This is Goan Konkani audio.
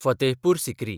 फतेहपूर सिक्री